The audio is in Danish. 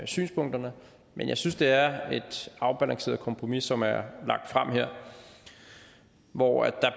synspunkterne men jeg synes det er et afbalanceret kompromis som er lagt frem her hvor